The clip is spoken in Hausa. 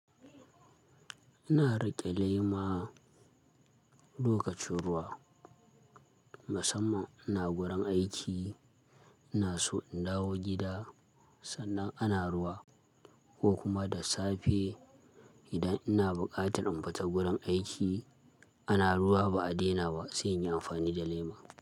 Ina riƙe lema lokacin ruwa. Musamman ina gurin aiki, ina so in dawo gida, sannan ana ruwa ko kuma da safe idan ina buƙatar in fita gurin aiki ana ruwa ba a daina ba sai in yi amfani da lema.